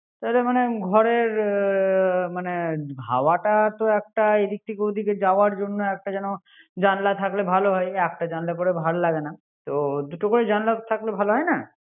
এ মনে ঘরে এর মানে হাওেো একটা এদিক থেকে ও দিক যাওয়ার জন্য একটা যেন জানলা থাকলে ভালো হয়। একটা জানলা করে ভালো লাগে না। তো দুটো করে জানলা থাকলে ভালো হয় না।